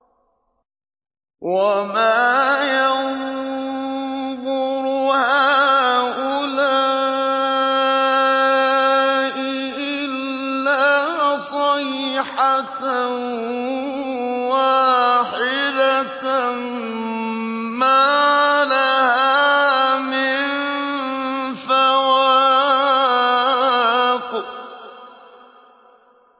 وَمَا يَنظُرُ هَٰؤُلَاءِ إِلَّا صَيْحَةً وَاحِدَةً مَّا لَهَا مِن فَوَاقٍ